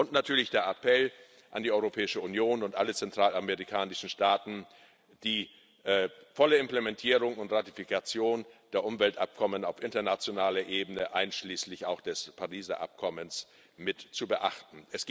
Und natürlich der Appell an die Europäische Union und alle zentralamerikanischen Staaten, die volle Implementierung und Ratifikation der Umweltabkommen auf internationaler Ebene einschließlich auch des Pariser Abkommens mit zu beachten.